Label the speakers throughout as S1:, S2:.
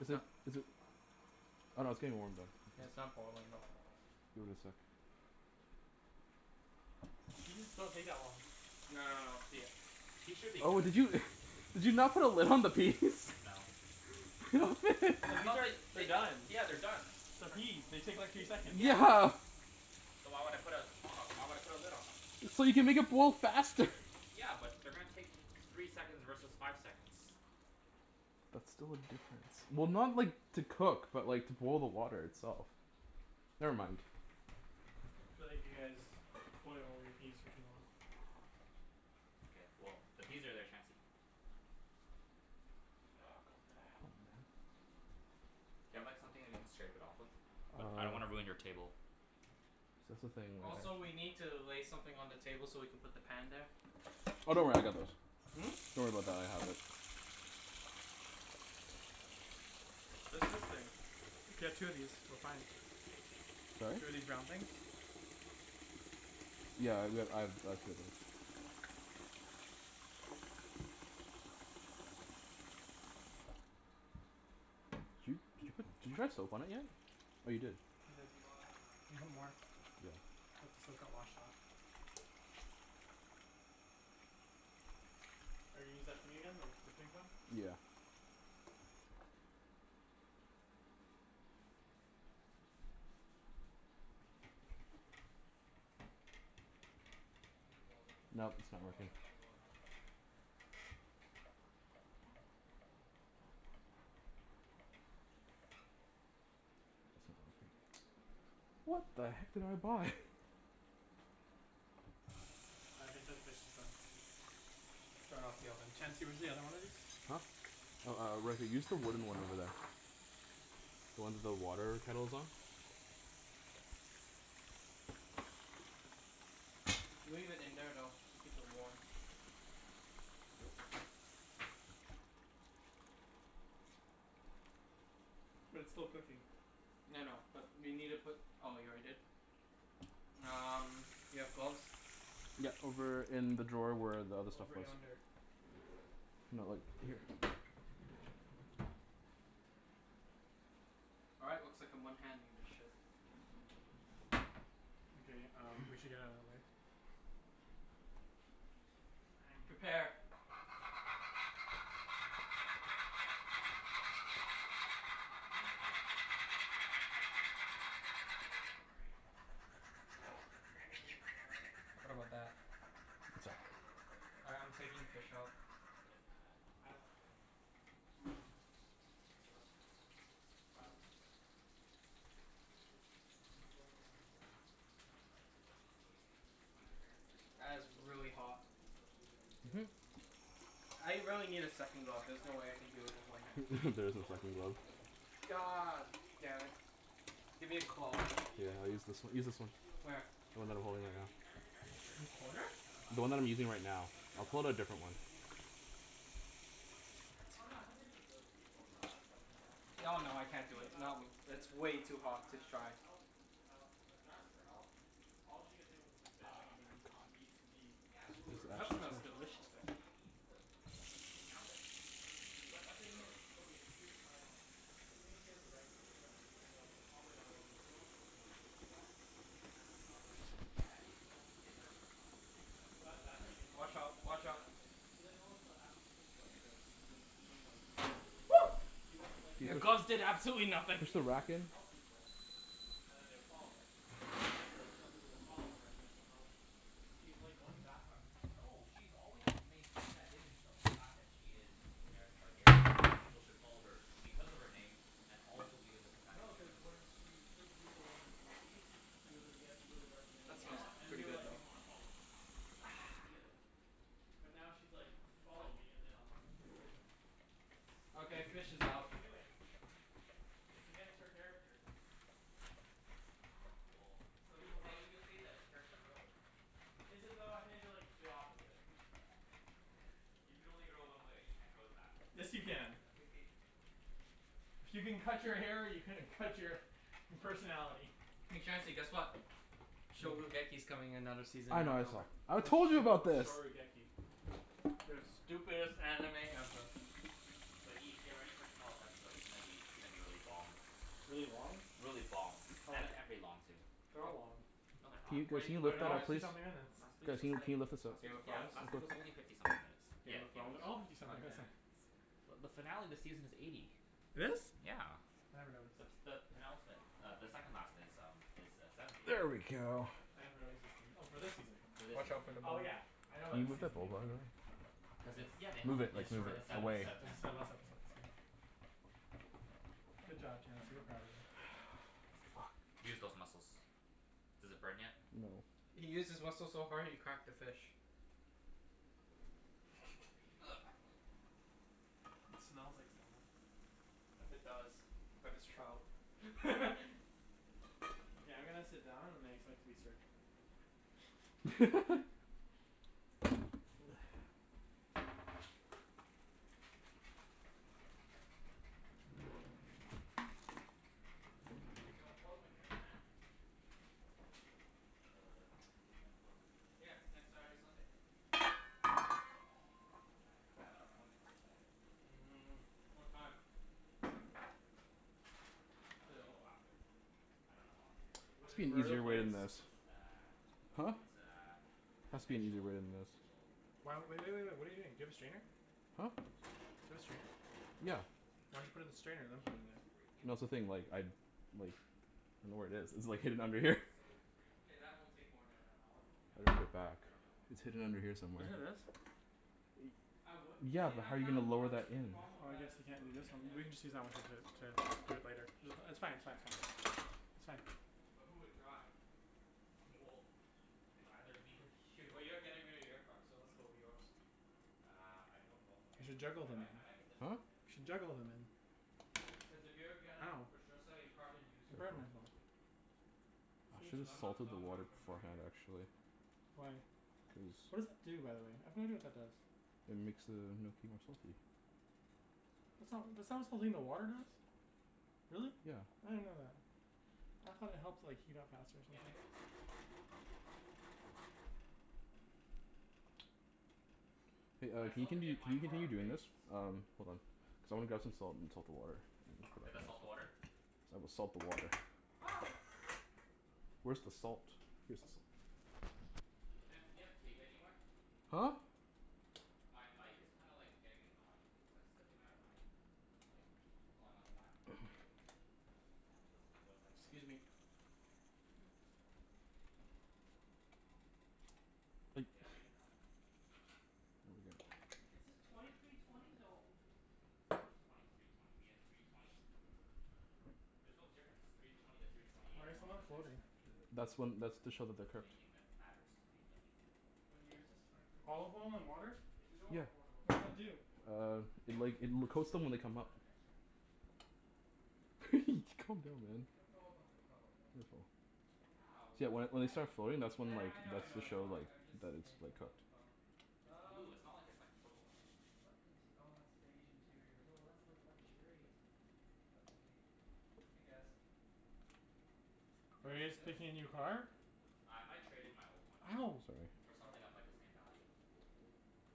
S1: Is it is it Oh no, it's getting warm, though.
S2: Yeah, it's not boiling though.
S1: Give it a sec.
S3: Peas don't take that long.
S2: No no no, the
S4: Peas should be
S1: Oh, did
S4: good.
S1: you did you not put a lid on the peas?
S4: No. The, I thought that
S3: they're
S4: they uh,
S3: done.
S4: yeah, they're done.
S3: They're
S4: They're tr-
S3: peas. They take like three seconds.
S4: Yeah.
S1: Yeah.
S4: So why would I put a pot o- why would I put a lid on them?
S1: So you can make it boil faster.
S4: Yeah, but they're gonna take three seconds versus five seconds.
S1: That's still a difference. Well, not like, to cook, but like to boil the water itself. Never mind.
S3: Feel like you guys boil all your peas for too long.
S4: K, well, the peas are there, Chancey.
S1: Oh god, help, man.
S4: Do you have like, something that you can scrape it off with? But I don't wanna
S1: Uh
S4: ruin your table.
S1: See, that's the thing.
S2: Also,
S1: We can't
S2: we need to lay something on the table so we can put the pan there.
S1: Oh, don't worry. I
S4: True.
S1: got those.
S4: Hmm?
S1: Don't worry about that. I have it.
S3: There's this thing. If you have two of these, we're fine.
S1: Sorry?
S3: Two of these round things?
S1: Yeah, I re- I've Did you did you put, did you try soap on it yet? Oh, you did?
S3: I did.
S2: Can you log outta my
S3: You
S2: account
S3: have more.
S2: please?
S4: Yeah, sure.
S1: Yeah.
S3: Cuz the soap got washed off. Are you gonna use that thing again? The the pink one?
S1: Yeah.
S4: This one,
S2: You can
S4: too?
S2: close it.
S1: No, it's not
S2: It'll
S1: working.
S2: automatically log out.
S1: What the heck did I buy?
S3: I think this fish is done.
S2: Turn off the oven.
S3: Chancey, where's the other one of these?
S1: Huh? Oh, uh, right here. Use the wooden one over there. The one the water kettle's on.
S2: Leave it in there, though, to keep it warm.
S3: But it's still cooking.
S2: I know. But you need to put, oh, you already did? Um, you have gloves?
S1: Yeah, over in the drawer where the other stuff
S3: Over
S1: was.
S3: yonder.
S1: No, like here.
S2: All right, looks like I'm one-handing this ship.
S3: Okay um, we should get outta the way.
S2: Prepare.
S4: Cha- I'm kinda rereading the Game of Thrones spoilers.
S3: Can you not?
S4: No, I'm I'm reading them to myself.
S3: Oh,
S4: Don't
S3: okay.
S4: worry. Like, I'm not reading them to you.
S3: I thought you were gonna read them out loud.
S2: What about that?
S4: It's
S1: What's up?
S4: actually a really good story this
S2: All
S4: season.
S2: right, I'm taking the fish out.
S4: But it's kinda
S3: I don't like new season.
S4: It's about to get better.
S3: I don't like her right now.
S4: Why?
S3: Cuz she's she's going away from her character.
S4: Like, what i- what do you think defines her character?
S2: That is
S3: She's supposed to be like
S2: really
S3: John
S2: hot.
S3: Snow. She's supposed to be very good
S1: Mhm.
S3: and humble, and stuff.
S2: I really need a
S4: Y-
S2: second
S4: you
S2: glove. There's
S4: understand
S2: no
S4: like
S2: way I
S4: her
S2: can do it with
S4: scenario
S2: one
S4: right?
S2: hand.
S4: Like,
S1: There
S4: there's
S3: She
S1: isn't
S4: no
S1: a
S3: has no
S4: way
S1: second glove.
S3: scenario. No, cuz
S2: God
S3: she's being a
S2: damn it.
S3: hypocrite.
S2: Give me a cloth.
S3: She's being
S1: Yeah,
S3: a
S1: I use
S3: constant
S1: this w- use
S3: hypocrite
S1: this
S3: but
S1: one.
S3: she wasn't like
S2: Where?
S3: this when she
S1: The
S3: was
S1: one
S4: Becau-
S1: that I'm
S3: in
S4: like,
S1: holding right now.
S4: everythi- every everything you're
S2: In
S4: saying is just
S2: corner?
S4: based out of last
S1: The one that I'm
S4: episode.
S1: using right now.
S3: No, it's based
S1: I'll
S4: Because
S3: off
S4: she
S1: pull out a
S3: of
S4: killed
S3: wh-
S4: those
S1: different
S3: this
S1: one.
S3: this
S4: people.
S3: season. It's based off this season.
S4: But what has she done
S3: Oh
S4: this
S3: no, it's nothing to do
S4: season?
S3: with those people. No, I don't care
S2: No, no,
S3: I'm
S2: I can't do
S3: talking
S2: it. Not
S3: about
S2: w-
S3: When
S2: it's
S3: uh
S2: way
S3: John,
S2: too
S3: when John
S2: hot to
S3: asked her to
S2: try.
S3: help hel- when John asks for help all she could think of was like, bend the knee, bend the
S1: My
S3: knee, cuz she
S1: god.
S3: needs to be
S4: Yeah.
S3: ruler of the
S2: That
S3: seven
S2: smells
S4: Because, no no no,
S2: delicious
S3: kingdoms.
S4: but
S2: though.
S4: she needs to maintai- Okay, now that she is physically in
S3: But the thing
S4: Westeros
S3: is, okay, here's my problem.
S4: Okay.
S3: She thinks she has the right to the throne
S4: Yeah.
S3: even though her father got overthrown from the throne. So she lost it. She doesn't ha- she's not the rightful heir
S4: Yeah,
S3: anymore.
S4: yeah, well, in her mind obviously it kinda
S3: So,
S4: works a
S3: that
S4: little
S3: that's already
S4: differently.
S3: gone.
S2: Watch
S3: So
S2: out.
S3: that, there's
S2: Watch
S3: that
S2: out.
S3: right there. But then also, after she came to Westeros she's been being like
S2: Woo!
S3: she doesn't like,
S2: Your
S3: like in the
S2: gloves did
S3: East
S2: absolutely
S3: in the
S2: nothing!
S1: Push the
S3: East, she would
S1: rack
S3: just
S1: in.
S3: help people. And then they would follow her. Now in Westeros, she wants people to follow her and then she'll help them. She's like, going back on who she is.
S4: No. She's always maintained that image of the fact that she is Daenerys Targaryen, and that people should follow her because of her name, and also because of the fact that
S3: No,
S4: she's a
S3: cuz when
S4: ruler.
S3: she freed the people in in the East she was like, you guys can go do whatever they
S2: That
S3: you
S2: smells
S4: Yeah.
S3: want. And
S2: pretty
S3: they're
S2: good
S3: like, "We
S2: though.
S3: wanna follow you." That's
S2: Ah.
S3: how she did it. But now she's like "Follow
S2: Fuck.
S3: me and then I'll help you." It's s- what
S2: Okay,
S3: she's doing.
S2: fish is
S3: It's what
S2: out.
S3: she's doing. It's against her character.
S4: Well,
S3: Some
S4: we
S3: people
S4: could
S3: call
S4: say,
S3: that
S4: we could say that it's character growth.
S3: Is it though? I think that it's the opposite.
S4: You can only grow one way. You can't grow backwards.
S3: Yes, you can.
S4: No, you can't.
S3: If you can cut your hair you can cut your personality.
S2: Hey Chancey, guess what? coming another season
S1: I
S2: in
S1: know, I saw.
S2: October.
S1: I told you about this!
S2: The stupidest anime ever.
S4: But Ibs, get ready for tomorrow's episode. It's gonna be, it's gonna be really bomb.
S3: Really long?
S4: Really bomb.
S3: Oh
S4: And a
S3: yeah.
S4: and pretty long, too.
S3: They're
S2: A-
S3: all long.
S4: No they're not.
S1: Can you,
S2: What
S1: guys,
S2: a-
S1: can you
S2: what are
S1: lift
S3: They're
S2: you
S1: that
S3: all
S2: guys
S1: up
S3: fifty
S1: please?
S3: something minutes.
S4: Last week's
S1: Guys, can
S4: was
S1: you can
S4: like,
S1: you lift this up?
S4: last
S2: Game of
S4: week's, yeah,
S2: Thrones?
S4: last week was only fifty something minutes. Yeah,
S2: Game of
S4: Game of
S2: Thrones?
S3: They're
S4: Game
S3: all
S4: of Thrones.
S3: fifty
S2: God
S3: something
S2: damn.
S3: missants.
S4: But the finale of the season is eighty.
S3: It is?
S4: Yeah.
S3: I never noticed.
S4: The s- the penultimate uh, the second last is um is uh, seventy.
S1: There we go.
S3: I never noticed her singing. Oh, for this season?
S4: For this
S2: Watch
S4: season,
S2: out for the
S4: yeah.
S3: Oh
S2: bowl.
S3: yeah, I know
S1: Can
S3: about
S1: you
S3: this
S1: move that
S3: season
S1: bowl,
S3: being
S1: by the
S3: longer.
S1: way?
S3: Cuz
S4: Cuz
S3: it's
S4: it's, yeah, they have,
S1: Move it,
S4: it's
S3: it's
S1: like,
S4: it's
S1: move
S4: sev-
S3: shorter
S1: it
S4: it's seven
S1: away.
S4: instead
S3: Cuz
S4: of ten.
S3: it's their last episode,
S4: Yeah.
S3: so Good job, Chancey. We're proud of you.
S1: Fuck.
S4: Use those muscles. Does it burn yet?
S1: No.
S2: He used his muscles so hard he cracked the fish.
S3: It smells like salmon.
S2: It
S4: No.
S2: does. But it's trout.
S3: Okay, I'm gonna sit down and I expect to be served.
S2: Yo, Portland trip, man.
S4: When? The s- the weekend before we leave?
S2: Yeah. Next Saturday, Sunday.
S4: Oh, I don't know, man. I k- I have an appointment on the Saturday.
S2: Mm. What time?
S4: Ten fifteen in the morning. Unless we
S2: Till?
S4: go after. I dunno how long it's gonna take.
S1: There
S2: What
S1: must
S2: is
S1: be
S2: it,
S1: an
S3: Where are
S2: though?
S3: the
S1: easier way than
S3: plates?
S1: this.
S4: It's uh
S1: Huh?
S4: it's uh
S1: Has to be an easier way
S4: potential
S1: than this.
S4: potential
S3: Why w-
S4: laser
S3: w-
S4: hair
S3: w- wait, wait.
S4: surgery.
S3: What are you doing? Do you have a strainer?
S1: Huh?
S3: Do you have a strainer?
S4: Cuz,
S1: Yeah.
S4: it's
S3: Why don't you put it
S4: freaking,
S3: in the strainer and then put it in there?
S4: shaving's freaking
S1: No, that's the
S4: annoying,
S1: thing, like
S4: man.
S1: I like don't know where it is. It's like, hidden under here.
S4: It's so freaking
S2: K, that
S4: annoying.
S2: won't take more than an hour.
S4: I
S1: I'm
S4: don't I
S1: gonna put
S4: don't
S1: it
S4: know.
S1: back.
S4: I don't know how long it's
S1: It's
S4: gonna
S1: hidden
S4: take.
S1: under here
S3: Isn't it
S1: somewhere.
S3: this?
S2: I would
S1: Yeah,
S2: say
S1: but
S2: I'm
S1: how are you
S2: down to
S1: gonna
S2: go
S1: lower
S2: after,
S1: that
S2: but the
S1: in?
S2: problem
S3: Oh,
S2: with
S3: I
S2: that is
S3: guess you can't
S2: when
S3: do
S2: we
S3: this
S2: get
S3: one? We
S2: there,
S3: can just use
S2: the
S3: that one
S2: Nike
S3: to d-
S2: store's probably
S3: to
S2: all
S3: do it
S2: closed
S3: later.
S2: and
S3: Ju-
S2: shit.
S4: We
S3: it's
S4: can
S3: fine, it's fine, it's
S4: check.
S3: fine. It's fine.
S2: But who would drive?
S4: Well, it's either me or
S2: Well,
S4: you.
S2: you're getting rid of your car, so let's go with yours.
S4: Uh, I don't know if I'm
S3: You
S4: getting
S3: should
S4: rid of it.
S3: juggle
S4: I might
S3: them.
S4: I might get this one.
S1: Huh?
S4: Here, let me
S3: You
S4: show
S3: should
S4: you.
S3: juggle them in.
S2: Cuz if you're gonna
S3: Ow.
S2: for sure sell your car, then use
S3: I
S2: yours
S3: burned myself.
S2: obviously.
S1: I should
S2: Cuz
S1: have
S2: I'm not
S1: salted the
S2: selling mine
S1: water
S2: for another
S1: beforehand,
S2: year.
S1: actually.
S3: Why?
S1: Cuz
S3: What does it do, by the way? what that does.
S1: It makes the gnocchi more salty.
S4: Nope, not this one. This
S3: It's
S4: is the
S3: not
S4: one I already showed you. But this one's sold already.
S3: Really?
S1: Yeah.
S3: I didn't know that. I thought it helped like, heat up faster or
S4: Yeah, I might
S3: something.
S4: get this one.
S1: Hey,
S4: But
S1: uh
S4: I
S1: can
S4: still
S1: you
S4: have to
S1: continu-
S4: get my
S1: can you
S4: car
S1: continue doing
S4: appraised.
S1: this? Um, hold on. Cuz I wanna grab some salt and salt the water.
S4: We have to salt the water?
S1: Cuz I will salt the water.
S4: Ah!
S1: Where's the salt? Here's the salt.
S4: Chancey, do you have tape anywhere?
S1: Huh?
S4: My mic is kinda like, getting annoying cuz it's like, slipping outta my like, it keeps pulling on the back of my head. Kinda feels like what it's like to get,
S2: Excuse me.
S4: have hair. Yeah, I might get that one.
S2: It says twenty three twenty, though.
S4: What do you mean twenty three twenty? You mean a three twenty? There's no difference three twenty to three twenty
S3: Why
S4: eight,
S3: are
S4: as long
S3: some
S4: as it
S3: of
S4: has
S3: them floating?
S4: xDrive.
S1: That's when, that's
S4: That
S1: to show that they're
S4: that's the main
S1: cooked.
S4: thing that matters to BMW.
S2: What year is this? Twenty fourteen?
S3: Olive oil in
S4: Yeah.
S3: water?
S4: It's
S2: Two
S4: the
S2: door or
S1: Yeah.
S2: four door?
S3: What does that
S4: Uh,
S3: do?
S4: four door.
S1: Uh,
S4: The
S1: it like,
S4: is the
S1: it l-
S4: first
S1: coats them when
S4: edition
S1: they
S4: of
S1: come
S4: the
S1: up.
S4: xDrive.
S1: Calm down, man.
S2: I don't know about the color though.
S1: Careful.
S4: Yeah,
S1: See that
S4: well,
S1: when
S4: you
S1: when they
S4: can't be
S1: start floating,
S4: picky if
S1: that's
S4: you're
S2: I
S1: when
S2: kn-
S4: buying
S1: like,
S2: I know I
S4: a
S1: that's
S2: know
S1: to
S4: used
S2: I
S1: show
S2: know,
S4: car.
S1: like,
S2: I'm just
S1: that it's like,
S2: about
S1: cooked.
S2: the color.
S4: It's blue.
S2: Um
S4: It's not like it's like purple or something.
S2: What int- ah, it's beige interior.
S4: Yo, that's like luxurious, man.
S2: But eh, I guess. You
S3: Are
S2: wanna
S3: you
S2: see
S3: guys
S2: this?
S3: picking a new car?
S4: What? Uh, I might trade in my old one.
S3: Ow!
S1: Sorry.
S4: For
S2: Yo.
S4: something of like, the same value. What?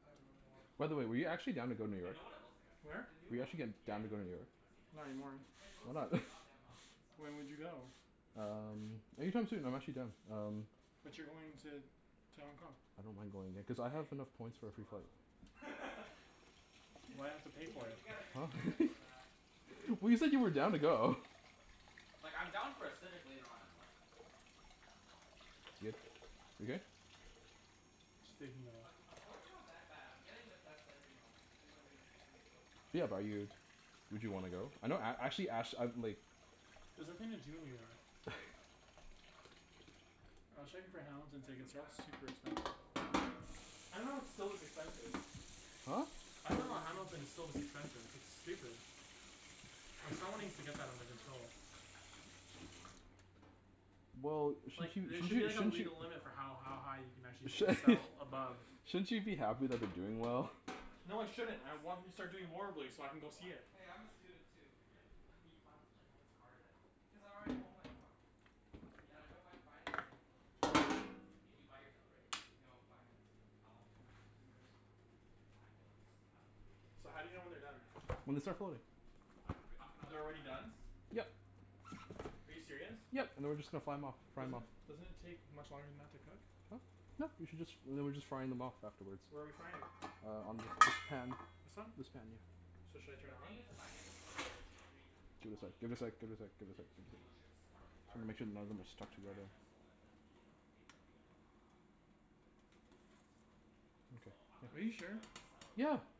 S2: I really
S4: T- oh my
S2: want
S1: By the way, were you
S4: god,
S1: actually down to go New
S4: I
S1: York?
S4: know what it looks like. I've seen it.
S2: The
S3: Where?
S2: new
S1: Were you
S2: one.
S1: actually g-
S4: Yeah, I
S1: down to
S4: know,
S1: go
S4: I
S1: to New
S4: know, I
S1: York?
S4: know. I've seen it.
S3: Not anymore.
S2: It it
S1: Why
S2: looks like a
S1: not?
S2: f- god damn Audi inside.
S3: When would you go?
S4: Yeah, but
S1: Um, anytime soon. I'm actually done.
S4: It's a
S1: Um
S4: s- it's a
S3: But you're
S4: Honda.
S3: going to
S4: I mean it's a
S3: to Hong Kong.
S1: I don't mind going there. Cuz I have
S2: Hey,
S1: enough points
S2: means
S1: for
S2: it's
S1: a free flight.
S2: reliable.
S3: Why do
S2: He's
S3: I
S2: like,
S3: have to
S2: y-
S3: pay for
S2: you
S3: it?
S2: gotta give me
S1: Huh?
S2: credits for that.
S4: Mm, but
S1: Well
S4: it's
S1: you
S4: a
S1: said you were
S4: Honda.
S1: down to go.
S4: Like, I'm down for a Civic later on in life, but I kinda want to, you
S1: Yeah.
S4: know, drive
S1: You
S4: a
S1: good?
S4: fast car right now.
S3: Just taking the
S2: Ac- Accord's not that bad. I'm getting the best engine option. Two hundred and sixty eight horsepower.
S1: Yeah, bu- are you would you wanna go? I know a- actually ash I like
S3: There's nothing to do in New York.
S4: I'm gonna drink more of your cocoa.
S2: Go
S3: I was
S2: right
S3: checking
S2: ahead.
S3: for Hamilton
S2: I feel
S3: tickets and
S2: bad for
S3: that's
S2: not
S3: super
S2: getting you any.
S3: expensive.
S4: Nah, it's all good.
S3: expensive.
S1: Huh?
S3: I dunno Hamilton is so expensive. It's stupid. Like, someone needs to get that under
S2: What about
S3: control.
S2: this?
S4: A
S1: Well, sh-
S4: four?
S1: sh-
S3: Like, there
S1: sh- sh-
S3: should be as
S4: Well,
S3: a
S4: it's
S1: shouldn't you
S3: legal
S4: it's
S3: limit for
S4: beyond my
S3: how
S4: budget.
S3: ha- high you can actually
S1: sh-
S3: sell
S2: My
S3: above
S2: budget's
S1: shouldn't
S2: fifty.
S1: you be happy that they're doing
S4: Well, my
S1: well?
S4: budget
S3: No, I
S4: right now
S3: shouldn't.
S4: as
S3: I
S4: a
S3: want him to
S4: student is
S3: start doing
S4: like,
S3: horribly so I can go see it.
S4: twenty.
S2: Hey, I'm a student too.
S4: Why are you buying such a nice car then?
S2: Because I already own my car. And
S4: Yeah,
S2: I don't
S4: w-
S2: mind financing it for a few years.
S4: Did you buy yours outright?
S2: No. Financed.
S4: How long was your finance?
S2: Two years.
S4: Mine was mine was three years.
S3: So,
S4: I'm
S3: how do you know
S4: a
S3: when
S4: I'm
S3: they're
S4: a year and
S3: done?
S4: a half in right
S1: When they
S4: now.
S1: start floating.
S4: But I
S3: B-
S4: can re- I can
S3: u-
S4: always
S3: they're already done?
S4: refinance.
S1: Yep.
S3: Are you serious?
S1: Yep, and then we're just gonna fly 'em off. Fry 'em
S3: Doesn't
S1: off.
S3: it doesn't it take much longer than that to cook?
S1: Huh? No, you should just, and then we're just frying them off afterward.
S3: Where are we frying it?
S1: Uh, on this pan.
S3: This one?
S1: This pan, yeah.
S3: So, should I turn
S4: The thing
S3: it
S4: is,
S3: on?
S4: if I get the twenty thirteen three
S1: Give it a sec,
S4: twenty
S1: give it a sec, give it a sec, give
S4: the
S1: it a sec.
S4: two dealerships are c-
S1: Just wanna
S4: aren't
S1: make sure none of them are
S4: connected.
S1: stuck
S4: Like Brian
S1: together.
S4: Jessel and then the um, BMW in uh, Langley was it, or something like that. So, I might
S3: Are
S4: have
S3: you
S4: to
S1: Okay, yeah.
S4: straight
S3: sure?
S4: up sell it to
S1: Yeah.
S4: them.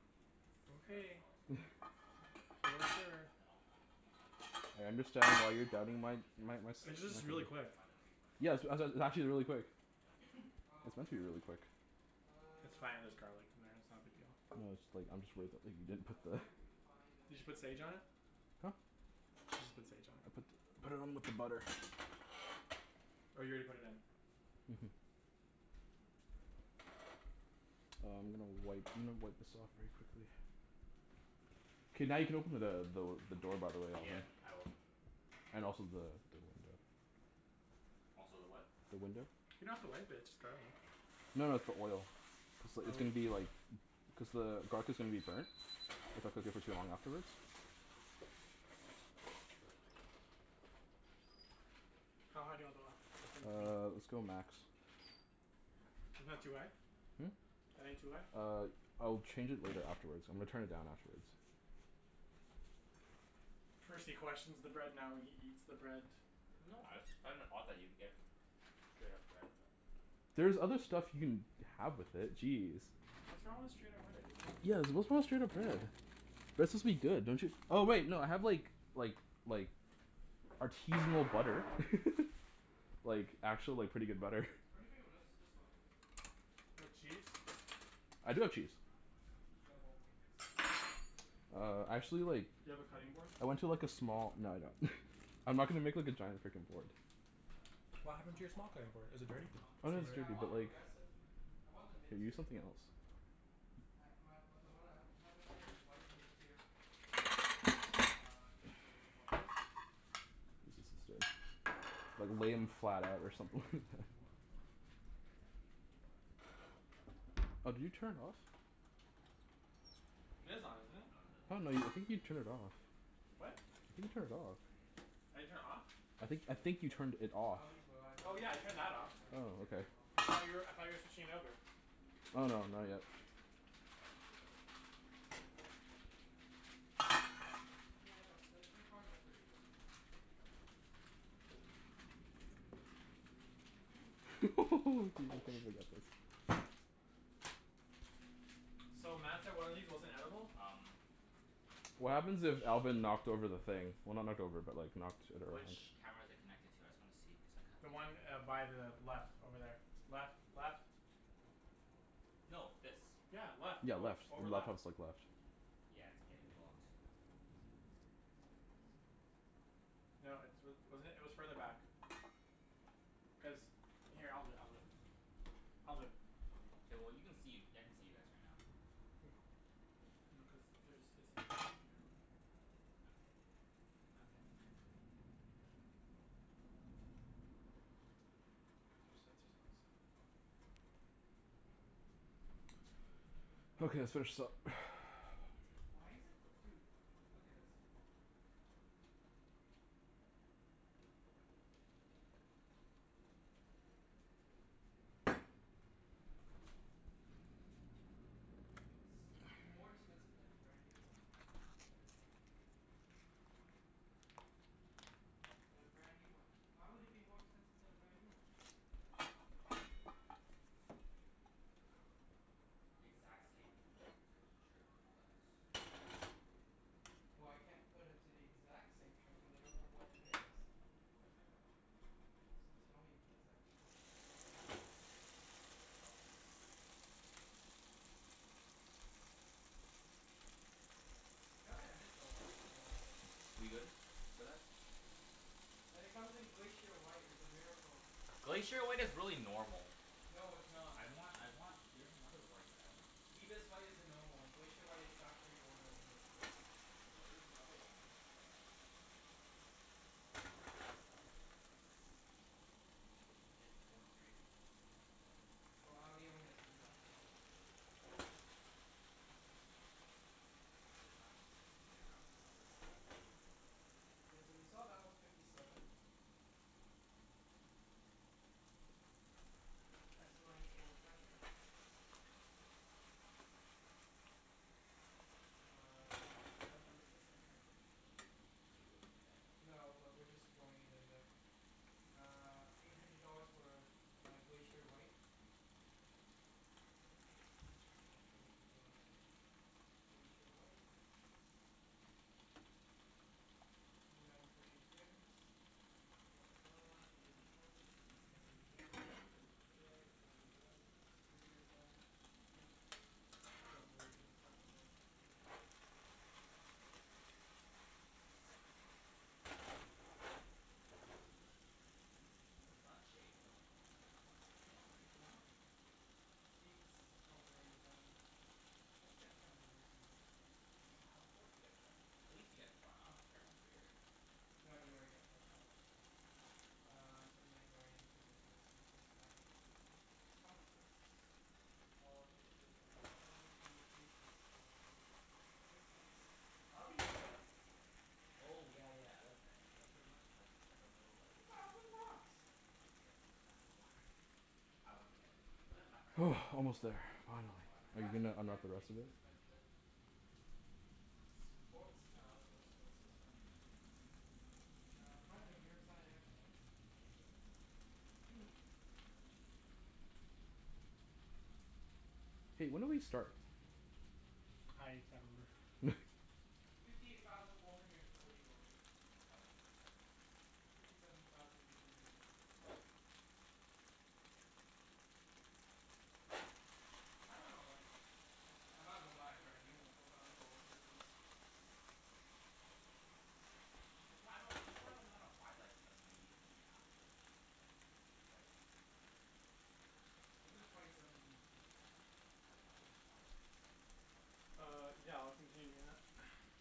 S4: Straight up
S3: Okay.
S4: sell it to the one, s- sell it to the guys in
S3: You're
S4: Langley.
S3: sure.
S4: And then I'll continue paying the financing.
S1: I understand why
S4: But then
S1: you're
S4: I'll
S1: doubting
S4: pretty
S1: my
S4: much just get a
S1: my my
S4: l-
S1: s-
S4: like,
S3: It's just
S4: I'll
S3: really
S4: pretty
S3: quick.
S4: much buy the three twenty
S1: Yeah,
S4: outright
S1: sw-
S4: for
S1: a
S4: like,
S1: it's actually
S4: two
S1: really
S4: thousand
S1: quick.
S4: or something like that.
S2: Oh,
S1: It's
S2: okay.
S1: meant to be really quick.
S3: It's fine. There's
S2: Um
S3: garlic in there.
S4: We'll
S3: It's not a big
S4: see.
S3: deal.
S1: No, it's like, I'm just worried that
S2: Shoot.
S1: like, you didn't
S2: How
S1: put
S2: do
S1: the
S2: I refine the
S3: Did you put sage
S2: location?
S3: on it?
S1: Huh?
S3: You should put sage on it.
S1: I put put it on with the butter.
S3: Oh, you already put it in?
S1: Mhm. Uh, I'm gonna wipe, I'm gonna wipe this off very quickly. K, now you can open the the the door, by the way,
S4: Yeah,
S1: Alvin.
S4: I will.
S1: And also the the the
S4: Also the what?
S1: the window.
S3: You don't
S4: Oh.
S3: have to wipe it. It's just garlic.
S1: No no, it's the oil. It's li-
S3: Oh,
S1: it's gonna
S3: really?
S1: be like cuz the garlic is gonna be burnt. If I cook it for too long afterwards.
S3: How high do you want the l- the thing to be?
S1: Uh, let's go max.
S3: Isn't that too high?
S1: Hmm?
S3: That ain't too high?
S1: Uh, I'll change it later afterwards. I'm gonna turn it down afterwards.
S3: First he questions the bread, now he eats the bread.
S4: No, I just find it odd that you would get straight up bread, but
S1: There's other stuff you can have with it. Jeez.
S3: What's wrong with straight up bread? I just don't
S1: Yeah,
S3: understand.
S1: what's wrong with straight up bread? Bread's
S4: Mmm.
S1: supposed to be good, don't you Oh wait, no, I have like like like artisanal butter. Like, actual like, pretty good butter.
S2: What do you think of this this one?
S3: You have cheese?
S1: I do have cheese.
S2: Demo. Ex demo.
S1: Uh, actually like
S3: Do you have a cutting board?
S1: I
S4: Yeah
S1: went
S4: man,
S1: to
S4: I
S1: like a
S4: was trying
S1: small,
S4: to
S1: no I don't. I'm not gonna make like a giant frickin' board.
S4: But,
S3: What
S4: it's
S2: Is
S3: happened
S2: it
S3: to
S4: comf-
S3: your
S4: it's
S3: small
S4: com-
S2: quattro?
S3: cutting board?
S4: is
S3: Is
S4: it,
S3: it dirty?
S4: it's comfort.
S1: Oh no,
S3: Still
S4: Yeah,
S1: it's
S4: the,
S3: dirty?
S2: Yeah, I
S1: dirty,
S2: want
S1: but like
S4: yeah.
S2: progressive. I want the mid
S1: Can you use
S2: tier.
S1: something else?
S2: I my w- the one I w- have in mind is white, mid tier lots of progressive uh, two point oh quattro.
S1: Use this instead. Like,
S4: I
S1: lay
S4: dunno.
S1: 'em
S4: I'm not
S1: flat
S4: even
S1: out or
S4: considering
S1: something like
S4: A
S1: that.
S4: four or like, a bri- like, semi decent A four at this point.
S1: Oh, did you turn it off?
S4: Cuz
S3: It is on,
S4: BMWs,
S3: isn't it?
S4: outta the
S1: Oh
S4: three
S1: no, you, I
S4: luxury
S1: think you
S4: brands
S1: turned it off.
S3: What?
S4: BMW gets the
S1: I think you turned
S4: cheapest
S1: it off.
S4: when it gets older.
S3: I didn't turn it off?
S1: I
S2: That's
S1: think I
S2: true,
S1: think you
S2: but
S1: turned it off.
S2: Audi's
S3: Oh yeah, I
S2: reliability
S3: turned that off.
S2: standards are
S1: Oh,
S2: getting
S1: okay.
S2: a lot
S3: Cuz I
S2: better.
S3: thought you were, I thought you were switching over?
S1: Oh no, not yet.
S4: Audi's still relatively new. In the game.
S2: Yeah, but th- their cars are pretty good.
S1: Dude, I
S4: Oh,
S1: can't
S4: sh-
S1: even get this.
S3: So, Mat said one of these wasn't edible?
S4: Um
S1: What happens
S4: which
S1: if Alvin knocked over the thing? Well, not knocked over but like, knocked it around?
S4: which camera is it connected to? I just wanna see cuz
S3: The
S4: I
S3: one
S4: kinda
S3: uh, by the left over there. Left. Left.
S4: No, this.
S3: Yeah, left.
S1: Yeah,
S3: Oh,
S1: left.
S3: over
S1: The laptop's
S3: left.
S1: like left.
S4: Yeah, it's getting blocked.
S3: No, it's wa- wasn't it? It was further back. Cuz, here, I'll do it. I'll do it. I'll do it.
S4: K, well you can see. I can see you guys right now.
S3: Mm. No, cuz there's, it's a two port camera.
S4: Okay. My bad.
S3: Yeah. Cuz there's sensors on this side.
S1: Okay, let's finish this up.
S2: Why is it? Dude, look at this.
S4: What?
S2: It's more expensive to have a brand new one.
S4: I dunno why. Cuz twenty eighteen's about to come out?
S2: But a brand new one? Why would it be more expensive to have a brand new one?
S4: Exact same, like, trim and all that?
S2: Well, I can't put it to the exact same trim cuz I don't know what it is.
S4: You can find out.
S2: It doesn't tell me the exact trim cuz there's so many add-ons.
S4: Oh, yeah, probably add-ons then.
S2: Gotta admit though, I like it.
S4: We good for that?
S2: And it comes in Glacier White. It's a miracle.
S4: Glacier White is really normal.
S2: No, it's not.
S4: I want I want, there's another white that I want. It's
S2: Ibis White
S4: uh
S2: is the normal one. Glacier White is factory order only.
S4: No, there's another one that you can just like, um there's another white. I dunno, I forgot what it cal- what it's called. My friend sent me a picture once, though. His his four series is is that white. I
S2: Well,
S4: for-
S2: Audi only has two whites.
S4: Get a wrapped exter- get it wrapped from another company.
S2: Yeah, so you saw that was fifty seven. S Line Sport Package. Uh, advanced driver assistant package.
S4: Do you really need that?
S2: No, but we're just throwing it in there. Uh, eight hundred dollars for my Glacier White.
S4: Error message.
S2: Yeah, cuz I clicked the wrong thing. Glacier White. Nineteen inch rims. Blah blah blah. Wheels and tires. I think that's already done. Headlights, already done. Exterior done. Roof. Don't really give a crap about the win-
S4: For the rear? No, get air for the rear seat, too.
S2: Why? Why?
S4: Oh, sun shades? Oh, no no no, not sun sage.
S2: Yeah, I was like, "Why?" Seats, probably already done. Let's get front and rear seating. Re- reseat.
S4: Yeah, of course you get front. At least you get front. I don't care about rear.
S2: No, you already get front auto. Um, inlay's already included in the s p s package. Comfort. All included. Audio communication, all included. Assistance. Audi head up display?
S4: Oh, yeah yeah, I like that. It's like, pretty much it's like, it's like a little
S2: It's a
S4: like
S2: thousand bucks!
S4: Yeah, it's it's kinda not worth I wouldn't get it. But then my friend has it for his four
S1: Almost there.
S4: series, cuz it was
S1: Finally. Are you
S4: automatically
S1: gonna
S2: Adaptive
S1: unwrap the
S2: dampening
S1: rest of this?
S2: suspension. Sports, nah, let's go with sports suspension. Uh, front and rearside airbags.
S1: Hey, when did we start?
S3: I can't remember.
S2: Fifty eight thousand four hundred and forty dollars.
S4: What was that one? Fifty seven something?
S2: Fifty seven thousand three hundred and nine.
S4: Yeah. Demos.
S2: I don't know, like, I might as well buy a brand new one for a thousand dollars difference.
S4: Well, I dunno. I'd That's why I don't, that's why I don't wanna buy like, immediately after like, the y- right when it comes out.
S2: This is
S4: Like,
S2: twenty
S4: I I
S2: seventeen, too.
S4: Yeah, I know. Like, I I wouldn't buy a twenty seventeen car right now.
S3: Uh, yeah. I'll continue doing that.